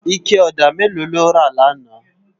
Iké òdá méló ló rá làná?